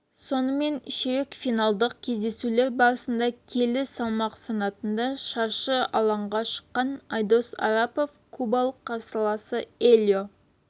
сонымен ширек финалдық кездесулер барысында келі салмақ санатында шаршы алаңға шыққан айдос арапов кубалық қарсыласы элио